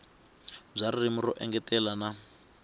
bya ririmi ro engetela na